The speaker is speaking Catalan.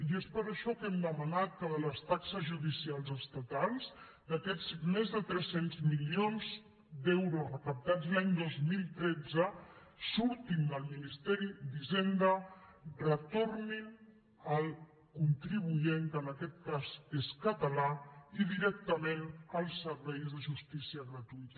i és per això que hem demanat que les taxes judicials estatals aquests més de tres cents milions d’euros recaptats l’any dos mil tretze surtin del ministeri d’hisenda retornin al contribuent que en aquest cas és català i directament als serveis de justícia gratuïta